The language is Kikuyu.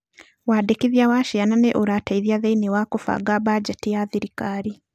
Wandĩkithia wa ciana nĩ ũrateithia thĩiniĩ wa kũbanga banjeti ya thirikari.